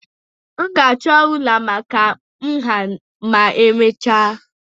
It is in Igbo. M ga-achọ rụlà maka nha ma emechaa